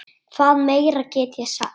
Hvað meira get ég sagt?